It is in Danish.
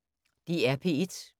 DR P1